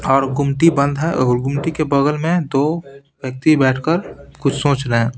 और गुमटी बंद है और गुमटी के बगल में दो व्यक्ति बैठकर कुछ सोच रहे हैं।